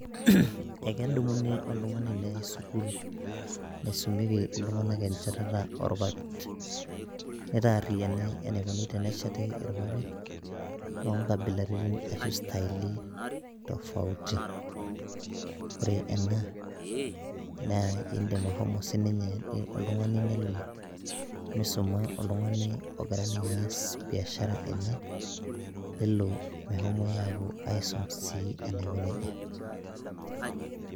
Ekedumuni oltung'ani neyai sukul, naisumieki iltung'anak enchetata orpapit. Nitaarriyiani enikoni tenesheti irpapit, lonkabilaritin ashu staili tofauti. Ore ena, naa idim ashomo sininye oltung'ani nelo, misuma oltung'ani ogira ninye aas biashara enye, nelo mehomoi apuo aisum si enaiko nejia.